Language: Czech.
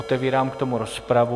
Otevírám k tomu rozpravu.